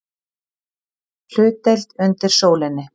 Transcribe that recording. HLUTDEILD UNDIR SÓLINNI